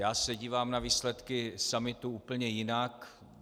Já se dívám na výsledky summitu úplně jinak.